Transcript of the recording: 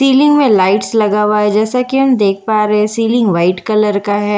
ceiling में lights लगा हुआ है जैसा हम देख पा रहे हैं सीलिंग व्हाइट कलर का है जिन --